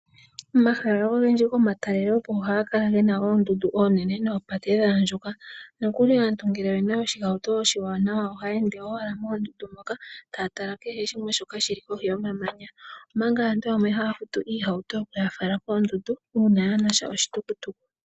Omahala ogendji gomatalelopo ohaga kala gena oondundu oonene noopate dha andjuka nokuli aantu ngele oyena oshihauto oshiwanawa ohaya ende owala moondundu moka taa tala kehe shimwe shoka shi li kohi yomamanya. Omanga aantu yamwe haya futu iihauto okuya fala koondundu uuna yaana sha oshitukutuku.